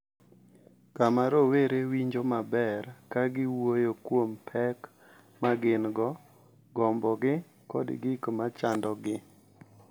Kama rowere winjo maber ka giwuoyo kuom pek ma gin-go, gombogi, kod gik ma chandogi.